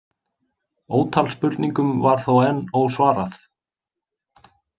Ótal spurningum var þó enn ósvarað.